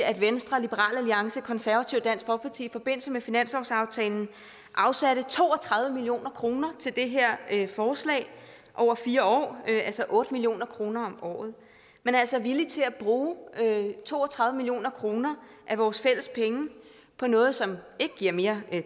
at venstre liberal alliance konservative og dansk folkeparti i forbindelse med finanslovsaftalen afsatte to og tredive million kroner til det her forslag over fire år altså otte million kroner om året man er altså villig til at bruge to og tredive million kroner af vores fælles penge på noget som ikke giver mere